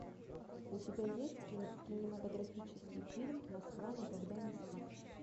у тебя есть кинематографический фильм москва никогда не спит